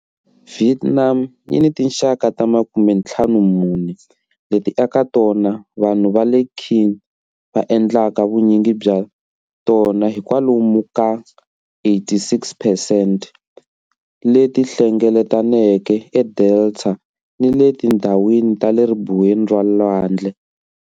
Vietnam yi ni tinxaka ta 54, leti eka tona vanhu va le Kinh va endlaka vunyingi bya tona hi kwalomu ka 86 percent, leti hlengeletaneke edelta ni le tindhawini ta le ribuweni ra lwandle.